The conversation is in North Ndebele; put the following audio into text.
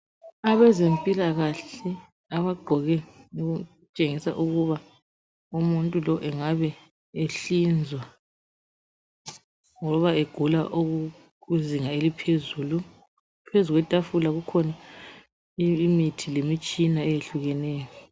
Abezempilakahle abagqoke okutshengisa ukuba umuntu lo engabe ehlinzwa ngoba egula okukuzinga eliphezulu. Phezu kwetafula kukhona imithi lemitshina eyehlukeneyo.